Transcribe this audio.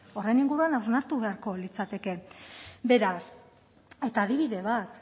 horren inguruan ausartu beharko litzateke beraz eta adibide bat